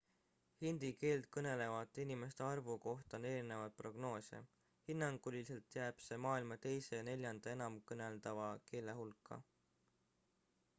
hindi keelt kõnelevate inimeste arvu kohta on erinevaid prognoose hinnanguliselt jääb see maailma teise ja neljanda enamkõneldava keele hulka